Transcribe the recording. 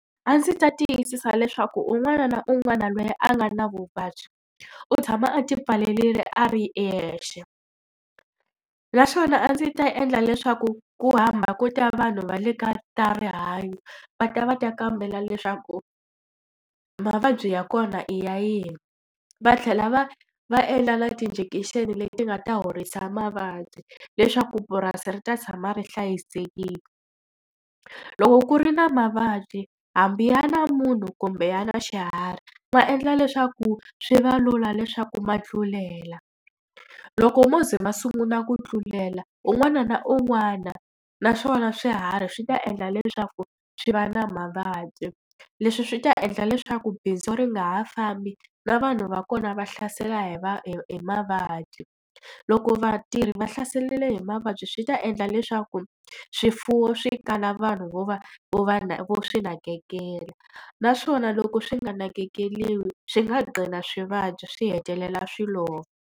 A ndzi ta tiyisisa leswaku un'wana na un'wana loyi a nga na vuvabyi, u tshama a ti pfalerile a ri yexe. Naswona a ndzi ta endla leswaku ku hamba ko ta vanhu va le ka ta rihanyo va ta va ta kambela leswaku mavabyi ya kona i ya yini, va tlhela va va endla na ti-injection leti nga ta horisa mavabyi leswaku purasi ri ta tshama ri hlayisekile. Loko ku ri na mavabyi, hambi ya na munhu kumbe ya na xiharhi, ma endla leswaku swi va lula leswaku ma tlulela. Loko wo ze ma sungula ku tlulela un'wana na un'wana, naswona swiharhi swi ta endla leswaku swi va na mavabyi. Leswi swi ta endla leswaku bindzu ri nga ha fambi, na vanhu va kona va hlasela hi hi hi mavabyi. Loko vatirhi va hlaseriwile hi mavabyi swi ta endla leswaku swifuwo swi kala vanhu vo va vo va vo swi nakekela. Naswona loko swi nga nakekeriwi swi nga gqina swi vabya swi hetelela swi lova.